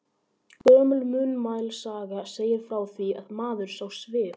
Gömul munnmælasaga segir frá því, að maður sá svip.